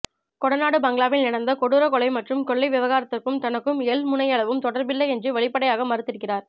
கொடநாடு பங்களாவில் நிகழ்ந்த கொடூர கொலை மற்றும் கொள்ளை விவகாரத்துக்கும் தனக்கும் எள்முனையளவும் தொடர்பில்லை என்று வெளிப்படையாக மறுத்திருக்கிறார்